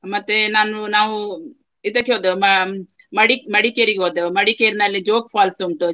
ಮತ್ತೆ ನಾನು ನಾವು ಇದಕ್ಕೆ ಹೋದೆವು ಮ~ ಮಡಿ~ ಮಡಿಕೇರಿಗೆ ಹೋದೆವು. ಮಡಿಕೇರಿನಲ್ಲಿ ಜೋಗ್ falls ಉಂಟು.